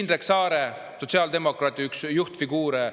Indrek Saar on üks sotsiaaldemokraatide juhtfiguure.